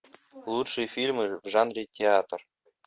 лучшие фильмы в жанре театр